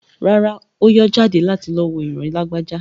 Rárá, Ó yọ́ jáde láti lọ wo ìran Lágbájá.